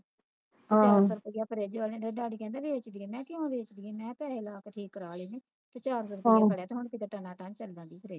ਜਦੋ ਫ਼ਰਜ ਵਾਲੇ ਅਦੋ ਕਹਿੰਦੇ ਵੇਚਦੀ ਆ ਮੈਂ ਕਿਊ ਵੇਚਦੀ ਆ ਮੈਂ ਘਰੇ Lock ਠੀਕ ਕਰਵਾ ਲੈਂਦੀ ਹਾਂ charger ਠੀਕ ਕਰਵਾ ਲਿਆ ਤੇ ਹੁਣ ਸਿੱਧਾ ਤਾਣਾ ਤਨ ਚੱਲਦੀ ਆ ਵਰਜ